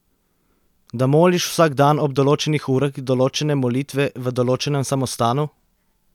Da moliš vsak dan ob določenih urah določene molitve v določenem samostanu?